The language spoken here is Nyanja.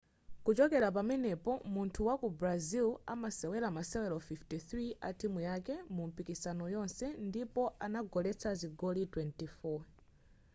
kuchokela pamenepo munthu wa ku brazil anasewela masewero 53 a timu yake mumipikisano yonse ndipo anagoletsa zigoli 24